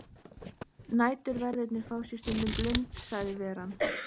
Næturverðirnir fá sér stundum blund sagði veran.